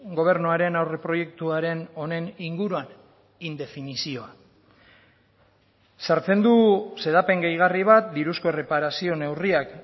gobernuaren aurreproiektuaren honen inguruan indefinizioa sartzen du xedapen gehigarri bat diruzko erreparazio neurriak